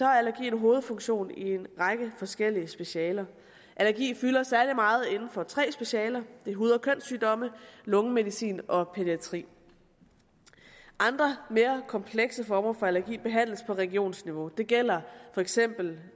allergi en hovedfunktion i en række forskellige specialer allergi fylder særlig meget inden for tre specialer hud og kønssygdomme lungemedicin og pædiatri andre mere komplekse former for allergi behandles på regionsniveau det gælder for eksempel